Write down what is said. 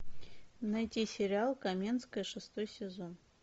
найти сериал каменская шестой сезон